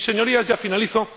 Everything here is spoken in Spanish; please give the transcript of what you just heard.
Y, Señorías, ya finalizo.